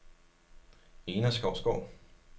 Ena Skovsgaard